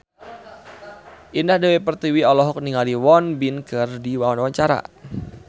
Indah Dewi Pertiwi olohok ningali Won Bin keur diwawancara